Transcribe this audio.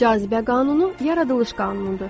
Cazibə qanunu yaradılış qanunudur.